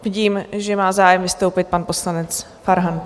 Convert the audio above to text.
Vidím, že má zájem vystoupit pan poslanec Farhan.